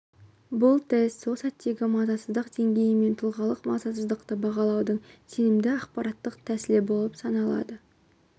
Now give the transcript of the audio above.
бұл тест сол сәттегі мазасыздық деңгейі мен тұлғалық мазасыздықты бағалаудың сенімді ақпараттық тәсілі болып саналады